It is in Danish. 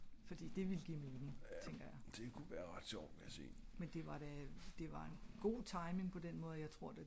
fordi det ville give mening tænker jeg